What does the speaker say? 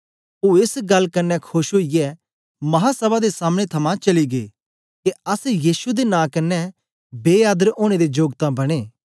ओ एस गल्ल कन्ने खोश ओईयै महासभा दे सामने थमां चली गै के अस यीशु दे नां कन्ने बे आदरे ओनें दे जोग तां बनें